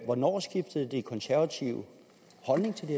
hvornår skiftede de konservative holdning til det